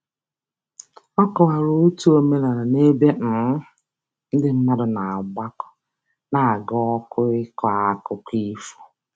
Ọ kọwara otu omenala ebe um ndị mmadụ na-agbakọ n'aga ọkụ ịkọ akụkọ ifo.